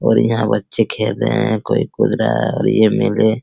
और यहां बच्चे खेल रहे हैं कोई कूद रहा है और ये मिले --